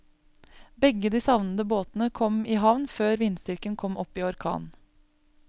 Begge de savnede båtene kom i havn før vindstyrken kom opp i orkan.